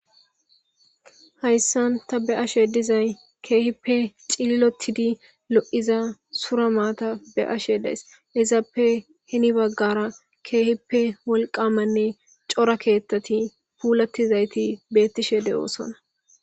Hayssan ta be ashe dizay keehippe cililotidi lo'iza sura maata be ashe days izaappe hini baggara keehippe wolqamanne cora keettati puulattizayti bettishe de'oosona.